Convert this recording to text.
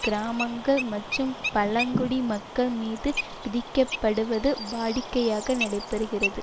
கிராமங்கள் மற்றும் பழங்குடி மக்கள் மீது விதிக்கப்படுவது வாடிக்கையாக நடைபெறுகிறது